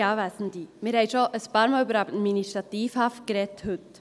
Wir haben heute schon ein paar Mal über Administrativhaft gesprochen.